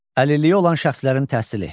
Əlilliyi olan şəxslərin təhsili.